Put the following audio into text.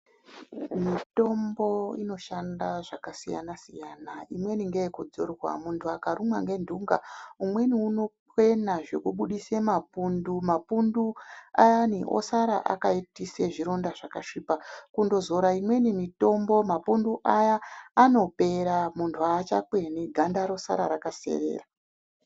Mitombo inoshanda zvakasiyana-siyana imweni ngeyekudzorwa muntu akarumwa nendunga umweni unokwena zvekubudise mapundu. Mapundu ayani osara akaitise zvironda zvakasvipa. Kundozora imweni mitombo mapundu aya anopera muntu haachakweni ganda rosara rakaserera.